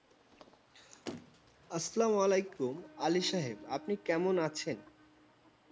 আসসালামু আলাইকুম, আলি সাহেব। আপনি কেমন আছেন?